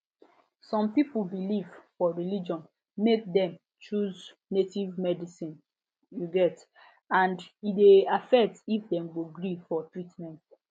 some people belief for religion make dem choose native medicine um and e dey affect if dem go gree for treatment